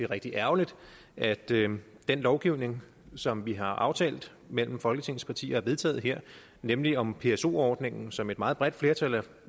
rigtig ærgerligt at den den lovgivning som vi har aftalt mellem folketingets partier og vedtaget her nemlig om pso ordningen som et meget bredt flertal